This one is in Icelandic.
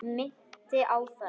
Minnti á það.